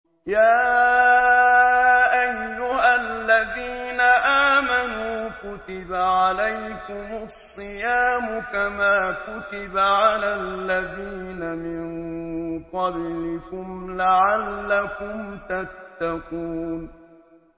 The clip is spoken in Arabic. يَا أَيُّهَا الَّذِينَ آمَنُوا كُتِبَ عَلَيْكُمُ الصِّيَامُ كَمَا كُتِبَ عَلَى الَّذِينَ مِن قَبْلِكُمْ لَعَلَّكُمْ تَتَّقُونَ